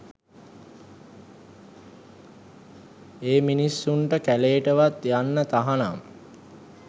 ඒ මිනිස්සුන්ට කැලේටවත් යන්න තහනම්